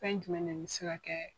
Fɛn jumɛn de bi se ka kɛ